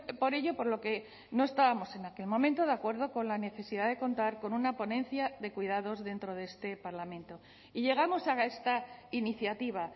por ello por lo que no estábamos en aquel momento de acuerdo con la necesidad de contar con una ponencia de cuidados dentro de este parlamento y llegamos a esta iniciativa